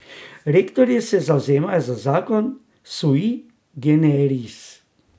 Rektorji se zavzemajo za zakon sui generis.